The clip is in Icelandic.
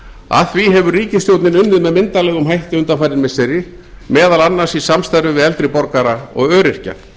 að því hefur ríkisstjórnin unnið með myndarlegum hætti undanfarin missiri meðal annars í samstarfi við eldri borgara og öryrkja